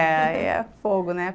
É, aí é fogo, né?